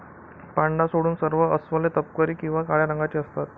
पांडा सोडून सर्व अस्वले तपकिरी किंवा काळ्या रंगाची असतात.